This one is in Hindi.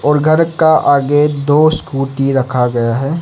और घर का आगे दो स्कूटी रखा गया है।